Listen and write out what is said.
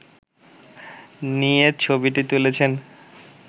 নিয়ে ছবিটি তুলেছেন